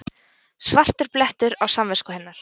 Svartur blettur á samvisku hennar.